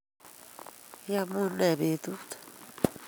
Iyamunee betut?